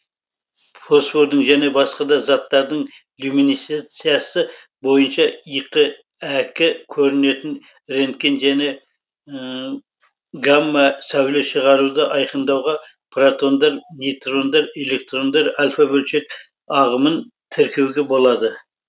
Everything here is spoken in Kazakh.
фосфордың және басқа да заттардың люминесценциясы бойынша иқ әк көрінетін рентген және гамма сәуле шығаруды айкындауға протондар нейтрондар электрондар альфа бөлшек ағымын тіркеуге болады